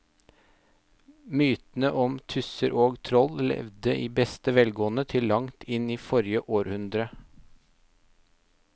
Mytene om tusser og troll levde i beste velgående til langt inn i forrige århundre.